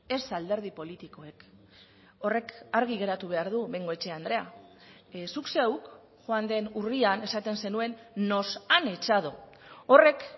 ez alderdi politikoek horrek argi geratu behar du bengoechea andrea zuk zeuk joan den urrian esaten zenuen nos han echado horrek